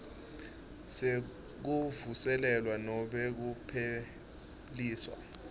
sekuvuselelwa nobe kupheliswa